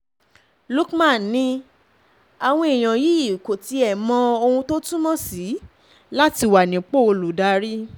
luc man ni àwọn èèyàn yìí kò tiẹ̀ mọ mọ ohun tó túmọ̀ sí láti wà nípò olùdarí